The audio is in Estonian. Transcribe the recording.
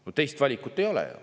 No teist valikut ei ole.